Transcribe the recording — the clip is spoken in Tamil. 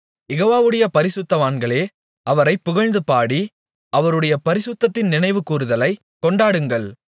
யெகோவாவுடைய பரிசுத்தவான்களே அவரைப் புகழ்ந்துபாடி அவருடைய பரிசுத்தத்தின் நினைவு கூருதலைக் கொண்டாடுங்கள்